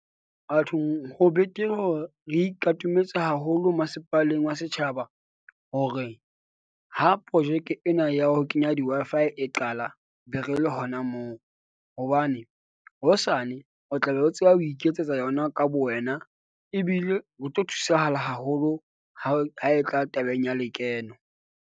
Bathong ho betere hore re ikatometse haholo masepaleng wa setjhaba. Hore ha projeke ena ya ho kenya di-Wi-Fi e qala, be re le hona na moo, hobane hosane o tla be o tseba ho iketsetsa yona ka bo wena. Ebile o tlo thusahala haholo ha ho ha e tla tabeng ya lekeno.